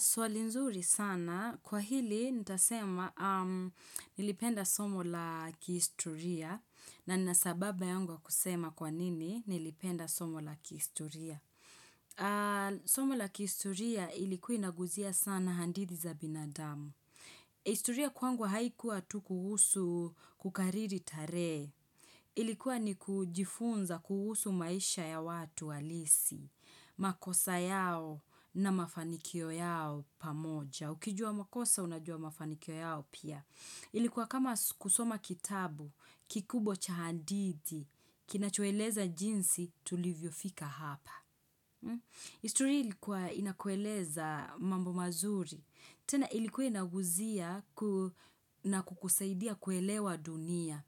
Swali nzuri sana, kwa hili nitasema nilipenda somo la kihistoria na nina sababu yangu ya kusema kwa nini nilipenda somo la kihistoria. Somo la kihistoria ilikuwa inaguzia sana hadithi za binadamu. Historia kwangu haikuwa tu kuhusu kukariri tarehe. Ilikuwa ni kujifunza kuhusu maisha ya watu halisi, makosa yao na mafanikio yao pamoja. Ukijua makosa unajua mafanikio yao pia. Ilikuwa kama kusoma kitabu, kikubw cha hadithi, kinachoeleza jinsi tulivyofika hapa. Historia ilikuwa inakueleza mambo mazuri. Tena ilikuwa inaguzia na kukusaidia kuelewa dunia.